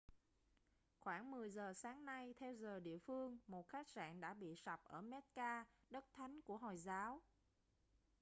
khoảng 10 giờ sáng nay theo giờ địa phương một khách sạn đã bị sập ở mecca đất thánh của hồi giáo